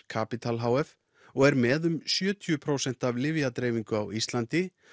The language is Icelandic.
Capital h f og er með um sjötíu prósent af lyfjadreifingu á Íslandi